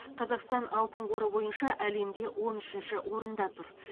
қазақстан алтын қоры бойынша әлемде он үшінші орында тұр